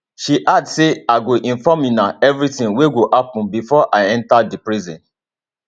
she add say i go inform una everitin wey go happun bifor i enta di prison